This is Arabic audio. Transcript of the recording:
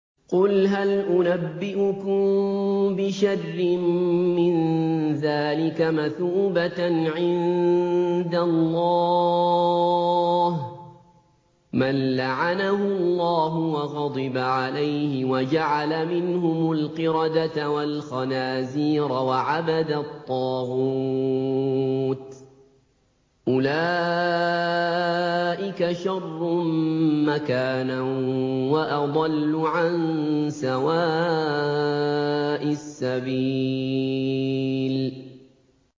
قُلْ هَلْ أُنَبِّئُكُم بِشَرٍّ مِّن ذَٰلِكَ مَثُوبَةً عِندَ اللَّهِ ۚ مَن لَّعَنَهُ اللَّهُ وَغَضِبَ عَلَيْهِ وَجَعَلَ مِنْهُمُ الْقِرَدَةَ وَالْخَنَازِيرَ وَعَبَدَ الطَّاغُوتَ ۚ أُولَٰئِكَ شَرٌّ مَّكَانًا وَأَضَلُّ عَن سَوَاءِ السَّبِيلِ